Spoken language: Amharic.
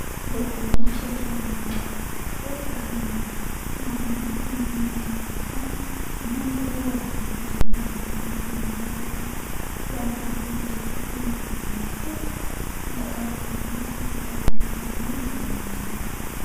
የበቆሎ ምርት በተለያዩ የሀገራችን ክፍሎች በግብርና አማካኝነት የሚገኝ የምርት አይነት ነው። ይኸውም በተለያዩ ቦታዎች ለምግብነት እንዲሁም ለመጠጥነት ለአልኮል መጠጦች እንዲሁም ለተለያዩ ምርቶች እንጠቀምበታለን እና ሰፊ ተደራሽነትን ያገኘ የግብርና ምርት ነው ።